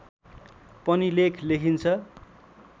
पनि लेख लेखिन्छ